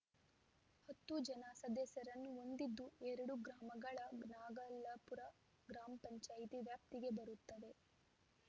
ಹತ್ತು ಜನ ಸದಸ್ಯರನ್ನು ಹೊಂದಿದ್ದು ಎರಡು ಗ್ರಾಮಗಳ ನಾಗಲಾಪುರ ಗ್ರಾಮ ಪಂಚಾಯತಿ ವ್ಯಾಪ್ತಿಗೆ ಬರುತ್ತವೆ